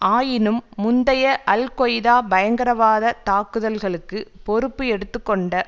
ஆயினும் முந்தைய Al Qaeda பயங்கரவாதத் தாக்குதல்களுக்கு பொறுப்பு எடுத்து கொண்ட